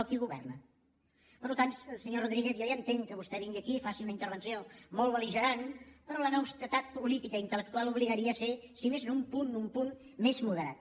qui hi governa per tant senyor rodríguez jo ja entenc que vostè vingui aquí i faci una intervenció molt bel·ligerant però l’honestedat política i intel·lectual obligaria a ser si més no un punt un punt més moderat